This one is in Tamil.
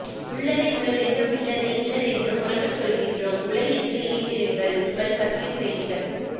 உள்ளதை உள்ளதென்றும் இல்லதை இல்லதென்றும் உரக்கச் சொல்கிறோம் உலகிற்கு இணைந்திருங்கள் உங்கள் சத்தியம் செய்திகள்